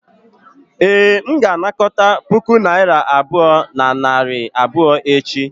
ee, m ga-anakọta puku naira abụọ na narị abụọ echi